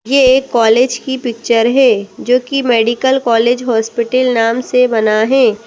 ये एक कॉलेज की पिक्चर है जो की मेडिकल कॉलेज हॉस्पिटल नाम से बना है।